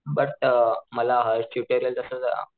but मला hash tutorial कस जरा